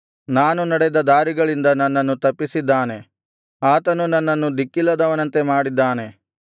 ನಾನು ನಡೆದ ದಾರಿಗಳಿಂದ ನನ್ನನ್ನು ತಪ್ಪಿಸಿದ್ದಾನೆ ಆತನು ನನ್ನನ್ನು ದಿಕ್ಕಿಲ್ಲದವನಂತೆ ಮಾಡಿದ್ದಾನೆ